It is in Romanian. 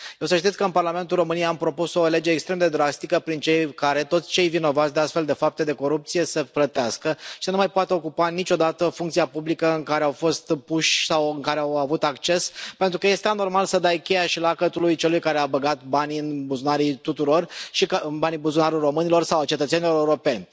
Să știți că în Parlamentul României am propus o lege extrem de drastică prin care toți cei vinovați de astfel de fapte de corupție să plătească și să nu mai poată ocupa niciodată funcția publică în care au fost puși sau la care au avut acces, pentru că este anormal să dai cheia și lacătul celui care a băgat banii tuturor în buzunar, banii românilor sau ai cetățenilor europeni.